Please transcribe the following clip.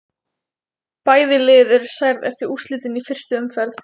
Bæði lið eru særð eftir úrslitin í fyrstu umferðinni.